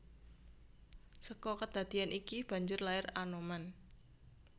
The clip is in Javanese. Seka kedadeyan iki banjur lair Anoman